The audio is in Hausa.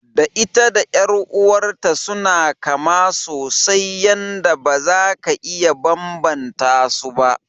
Da ita da ƴar'uwar ta suna kama sosai yanda baza ka iya banbanta su ba.